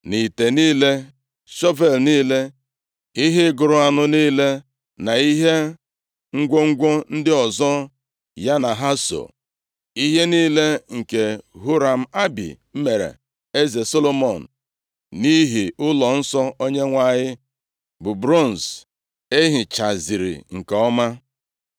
na ite niile, shọvel niile, ihe ịgụrụ anụ niile na ihe ngwongwo ndị ọzọ ya na ha so. Ihe niile nke Huram-Abi mere eze Solomọn nʼihi ụlọnsọ Onyenwe anyị, bụ bronz e hichaziri nke ọma.